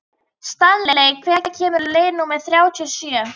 Stanley, hvenær kemur leið númer þrjátíu og sjö?